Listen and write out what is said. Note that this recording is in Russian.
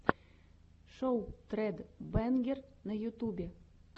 шоу тред бэнгер на ютубе